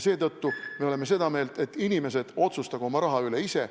Seetõttu oleme seda meelt, et inimesed otsustagu oma raha üle ise.